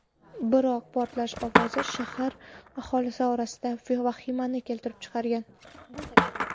Biroq portlash ovozi shahar aholisi orasida vahimani keltirib chiqargan.